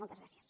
moltes gràcies